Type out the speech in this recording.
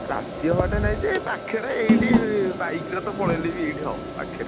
ଅ ~ ରା ~ ତି ହବା ଠେଇ ନାହିଁ ଯେ ଏ ପାଖରେ ଏଇଠି bike ରେ ତ ପଳେଇଲେ ବି ତ ଏଇଠି ହବ ପାଖରେ।